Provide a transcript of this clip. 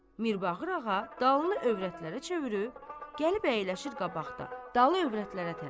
Mirbağır ağa dalını övrətlərə çevirib, gəlib əyləşir qabaqda, dalı övrətlərə tərəf.